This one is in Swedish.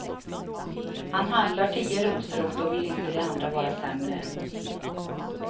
Han handlar tio rosor och då vill inte de andra vara sämre.